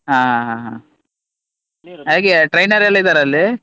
ಹಾ ಹಾ ಹಾ ಹೇಗೆ trainer ಎಲ್ಲ ಇದ್ದಾರಾ ಅಲ್ಲಿ?